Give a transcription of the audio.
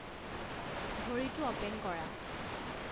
ঘড়ীটো অ'পেন কৰা